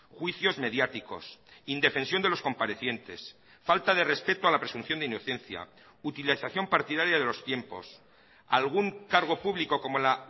juicios mediáticos indefensión de los comparecientes falta de respeto a la presunción de inocencia utilización partidaria de los tiempos algún cargo público como la